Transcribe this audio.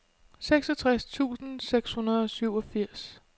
seksogtres tusind seks hundrede og syvogfirs